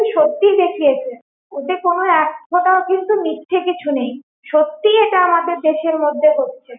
সত্যি দেখিয়েছে ওতে কিন্তু এক ফোটাও কিন্তু মিথ্যে কিছু নেই সত্যি এটা আমাদের দেশের মধ্যে হচ্ছে।